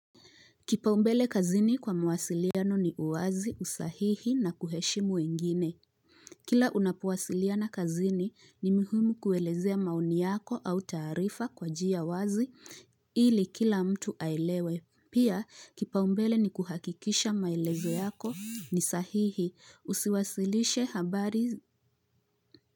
Kipaumbele kazini kwa mawasiliano ni uwazi, usahihi na kuheshimu wengine. Kila unapowasiliana kazini ni mihumu kuelezea maoni yako au taarifa kwa njia wazi ili kila mtu ailewe. Pia kipaumbele ni kuhakikisha maelezo yako ni sahihi. Usiwasilishe habari.